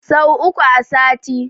Sau uku a sati.